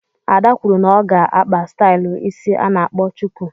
Ada kwụrụ na ọ ga-akpa stylu ịsị ana akpọ chuku.